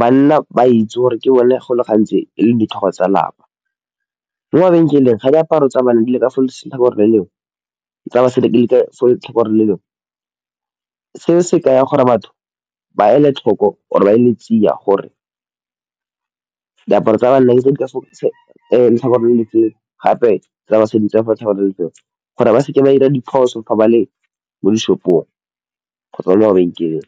banna ba itse gore ke bone go le gantsi e leng ditlhogo tsa lapa, mo mabenkeleng ga diaparo tsa banna di le ka fo letlhakoreng le lengwe le tsa basadi di le ka fo letlhakoreng le lengwe se se ka ya gore batho ba ele tlhoko or e ba e le tsia gore diaparo tsa banna tse di ka fo letlhakoreng gape tsa basadi ke letlhakoreng le le feng gore ba seke ba dira diphoso fa ba le mo dishopong kgotsa mo bankeng.